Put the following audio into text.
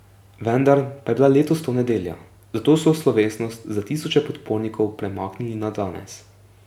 Vendar pa je bila letos to nedelja, zato so slovesnost za tisoče podpornikov premaknili na danes.